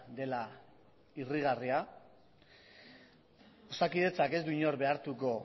dela irrigarria osakidetzak ez du inor behartuko